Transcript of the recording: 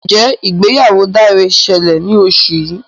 Njé ìgbéyàwó Dare ṣẹlẹ ní oṣù yí.